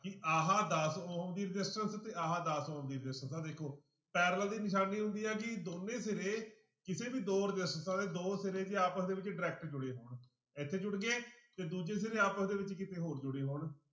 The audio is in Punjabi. ਕਿ ਆਹ ਦਸ ਉਹਦੀ resistance ਤੇ ਆਹ ਦਸ ਉਹਦੀ resistance ਆਹ ਦੇਖੋ parallel ਦੀ ਨਿਸ਼ਾਨੀ ਹੁੰਦੀ ਆ ਕਿ ਦੋਨੇ ਸਿਰੇ ਕਿਸੇ ਵੀ ਦੋ ਰਸਿਸਟੈਂਸਾਂ ਦੇ ਦੋ ਸਿਰੇ ਜੇ ਆਪਸ ਦੇ ਵਿੱਚ direct ਜੁੜੇ ਹੋਣ ਇੱਥੇ ਜੁੜ ਗਏ ਤੇ ਦੂਜੇ ਸਿਰੇ ਆਪਸ ਦੇ ਵਿੱਚ ਕਿਤੇ ਹੋਰ ਜੁੜੇ ਹੋਣ।